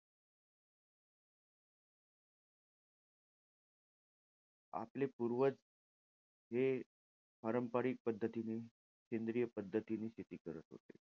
आपले पूर्वज हे पारंपरिक पद्धतीने सेंद्रिय पद्धतीने, शेती करत होते.